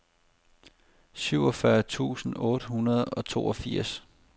syvogfyrre tusind otte hundrede og toogfirs